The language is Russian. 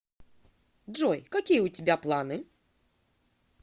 джой какие у тебя планы